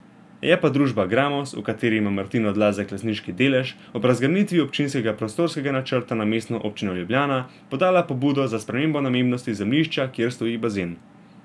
Je pa družba Gramoz, v kateri ima Martin Odlazek lastniški delež, ob razgrnitvi občinskega prostorskega načrta na Mestno občino Ljubljana podala pobudo za spremembo namembnosti zemljišča, kjer stoji bazen.